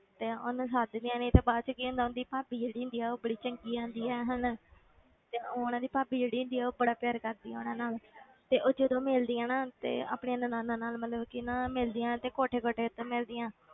ਤੇ ਉਹਨੂੰ ਸੱਦਦੀਆਂ ਨੀ ਤੇ ਬਾਅਦ 'ਚ ਕੀ ਹੁੰਦਾ ਉਹਦੀ ਭਾਬੀ ਜਿਹੜੀ ਹੁੰਦੀ ਆ ਉਹ ਬੜੀ ਚੰਗੀ ਆਉਂਦੀ ਹੈ ਹਨਾ ਤੇ ਉਹਨਾਂ ਦੀ ਭਾਬੀ ਜਿਹੜੀ ਹੁੰਦੀ ਆ ਬੜਾ ਪਿਆਰ ਕਰਦੀ ਆ ਉਹਨਾਂ ਨਾਲ ਤੇ ਉਹ ਜਦੋਂ ਮਿਲਦੀ ਆ ਨਾ ਤੇ ਆਪਣੀ ਨਨਾਣਾਂ ਮਤਲਬ ਕਿ ਨਾ ਮਿਲਦੀਆਂ ਤੇ ਕੋਠੇ ਕੋਠੇ ਉੱਤੇ ਮਿਲਦੀਆਂ,